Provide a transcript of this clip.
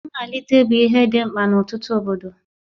Mmalite bụ ihe dị mkpa n'ọtụtụ obodo.